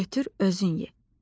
Götür, özün ye.